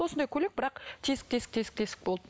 осындай көйлек бірақ тесік тесік тесік тесік болды